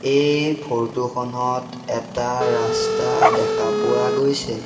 এই ফৰটো খনত এটা ৰাস্তা দেখা পোৱা গৈছে।